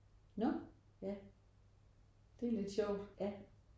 Nåh? Det er lidt sjovt